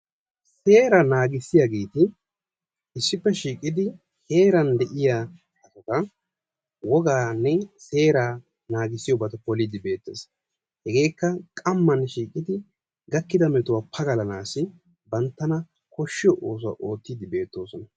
Seeraa naagissiyageti issippe shiiqidi heeran de'iyabata wogaane seeraa naagissiyoge beettidi de'ees. Hegeekka qamman shiiqidi gakkida metuwaa pagalanaassi banttana koshiyo oosuwaa ottidi de'osona.